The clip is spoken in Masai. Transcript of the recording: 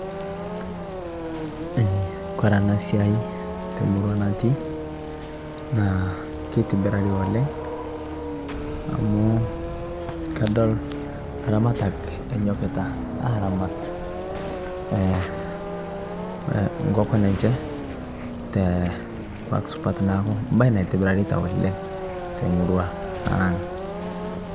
Kore ana siai te murua natii naa keitibirarii oleng amu kadol laramatak enyokitaa aramat nkokon enshee te nkuak supat naaku mbali naitibiraritaa oleng te murua ang